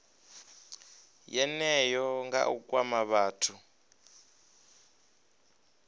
yeneyo nga u kwama vhathu